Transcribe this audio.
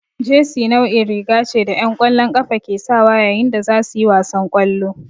Jesi nau'in riga ce da 'yan ƙwallon ƙafa ke sawa yayin da za su yi wasan ƙwallo.